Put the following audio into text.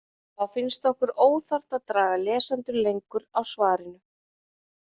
Þá finnst okkur óþarft að draga lesendur lengur á svarinu.